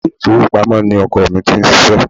Ilé ifowopamo ni ọkọ ni ti ń ṣíṣe.